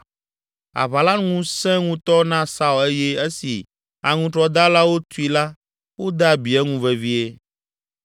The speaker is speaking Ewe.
Aʋa la nu sẽ ŋutɔ na Saul eye esi aŋutrɔdalawo tui la wode abi eŋu vevie.